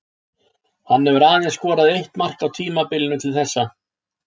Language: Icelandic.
Hann hefur aðeins skorað eitt mark á tímabilinu til þessa.